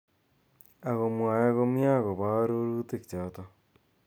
Ako mwae komyee ako bo arorutik chotok.